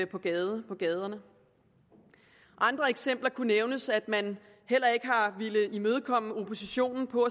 på gaderne på gaderne andre eksempler kunne nævnes med at man heller ikke har villet imødekomme oppositionen når